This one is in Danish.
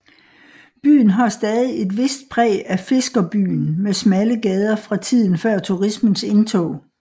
Byen har stadig et vist præg af fiskerbyen med smalle gader fra tiden før turismens indtog